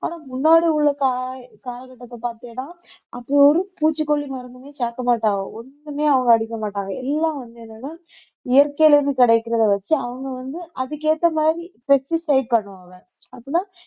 ஆனா முன்னாடி உள்ள கால~ காலகட்டத்தை பார்த்தியாடா அப்ப ஒரு பூச்சிக்கொல்லி மருந்துமே சேர்க்க மாட்டான் ஒண்ணுமே அவங்க அடிக்க மாட்டாங்க எல்லாம் வந்து என்னன்னா இயற்கையில இருந்து கிடைக்கிறத வச்சு அவங்க வந்து அதுக்கு ஏத்த மாதிரி pesticide பண்ணுவாங்க அப்படின்னா